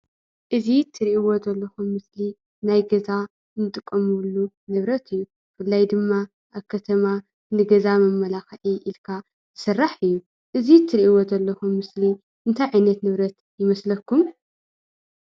እዚ ትርእይዎ ዘለኹም ምስሊ ናይ ገዛ ንጥቀመሉ ንብረት እዩ። ብፍላይ ድማ ኣብ ከተማ ንገዛ መመላኽዒ ኢልካ ዝስራሕ እዩ። እዚ እትርእይዎ ዘለኹም ምስሊ እንታይ ዓይነት ንብረት ይመስለኩም?